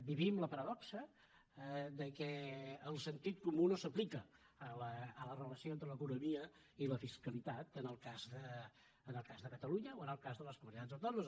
vivim la paradoxa que el sentit comú no s’aplica a la relació entre l’economia i la fiscalitat en el cas de catalunya o en el cas de les comunitats autònomes